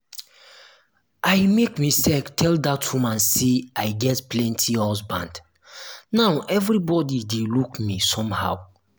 i make mistake tell dat woman say i get plenty husband now everybody dey look me somehow